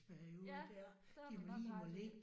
Ja. Det har du nok ret i